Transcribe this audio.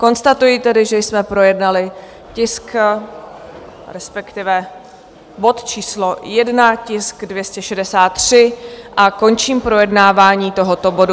Konstatuji tedy, že jsme projednali tisk, respektive bod číslo 1, tisk 263, a končím projednávání tohoto bodu.